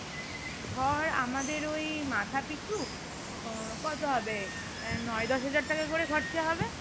ধর আমাদের ঐ মাথা পিছু আহ কত হবে আহ নয় দশ হাজার টাকা করে খরচা হবে